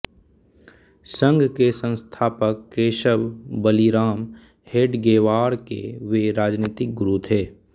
संघ के संस्थापक केशव बलिराम हेडगेवार के वे राजनितिक गुरु थे